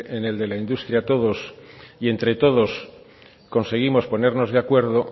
en el de la industria todos y entre todos conseguimos ponernos de acuerdo